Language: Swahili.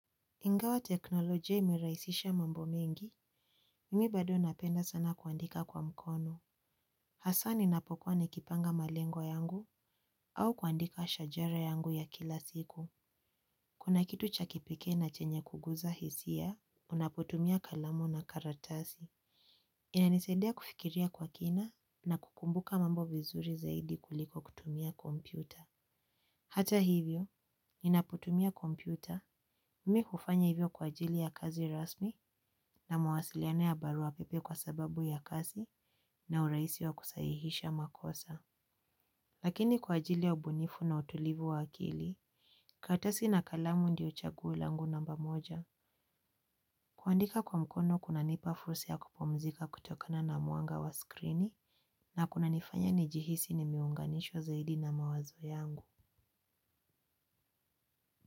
Ingawa teknolojia imerahisisha mambo mengi, mimi bado napenda sana kuandika kwa mkono. Hasa ninapokuwa nikipanga malengo yangu au kuandika shajara yangu ya kila siku. Kuna kitu cha kipekee na chenye kuguza hisia, unapotumia kalamu na karatasi. Inanisaidia kufikiria kwa kina na kukumbuka mambo vizuri zaidi kuliko kutumia kompyuta. Hata hivyo, ninapotumia kompyuta, mimi hufanya hivyo kwa ajili ya kazi rasmi na mawasiliano ya baruapepe kwa sababu ya kazi na urahisi wa kusahihisha makosa. Lakini kwa ajili ya ubunifu na utulivu wa akili, karatasi na kalamu ndiyo chaguo langu namba moja. Kuandika kwa mkono kunanipa fursa ya kupumzika kutokana na mwanga wa skrini na kunanifanya nijihisi nimeunganishwa zaidi na mawazo yangu.